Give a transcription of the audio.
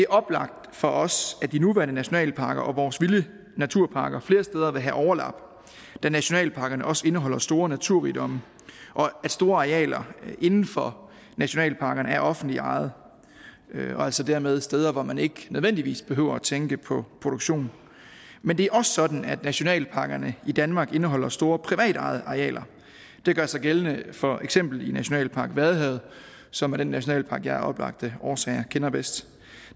oplagt for os at de nuværende nationalparker og vores vilde naturparker flere steder vil have overlap da nationalparkerne også indeholder store naturrigdomme og at store arealer inden for nationalparkerne er offentligt ejet og altså dermed er steder hvor man ikke nødvendigvis behøver at tænke på produktion men det er også sådan at nationalparkerne i danmark indeholder store privatejede arealer det gør sig gældende for eksempelvis nationalpark vadehavet som er den nationalpark som jeg af oplagte årsager kender bedst